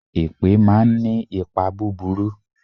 Èpè máa ń ní ipa búburú.